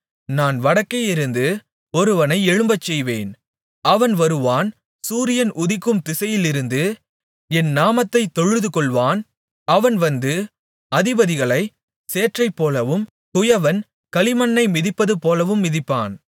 நான் வடக்கேயிருந்து ஒருவனை எழும்பச்செய்வேன் அவன் வருவான் சூரியன் உதிக்கும் திசையிலிருந்து என் நாமத்தைத் தொழுதுகொள்வான் அவன் வந்து அதிபதிகளைச் சேற்றைப்போலவும் குயவன் களிமண்ணை மிதிப்பதுபோலவும் மிதிப்பான்